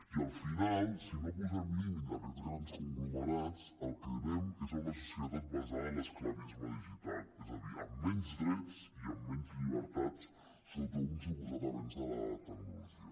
i al final si no posem límit a aquests grans conglomerats al que anem és a una societat basada en l’esclavisme digital és a dir amb menys drets i amb menys llibertats sota un suposat avenç de la tecnologia